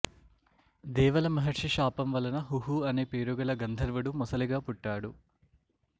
దేవల మహర్షి శాపం వలన హుహు అనే పేరు గల గంధర్వుడు మొసలిగా పుట్టాడు